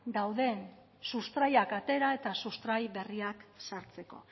dauden sustraiak atera eta sustrai berriak sartzeko